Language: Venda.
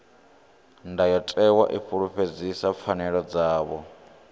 ndayotewa i fulufhedzisa pfanelo dzavho